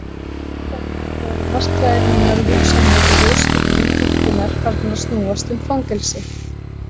Þess vegna voru martraðir mínar og hugsanir í ljósaskiptum þynnkunnar farnar að snúast um fangelsi.